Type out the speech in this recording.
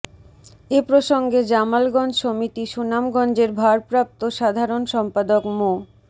এ প্রসঙ্গে জামালগঞ্জ সমিতি সুনামগঞ্জের ভারপ্রাপ্ত সাধারণ সম্পাদক মো